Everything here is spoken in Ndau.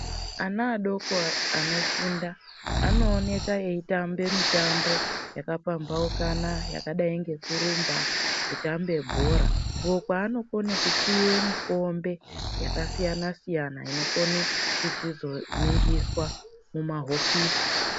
Ana adoko anofunda anooneke eutambe mitambo yakapambaukana yakaidai ngekurumba, kutambe bhora uko kwaanokone kupiwe mikombe yakasiyana siyana inokone kuchizoningiswa mumahofisi.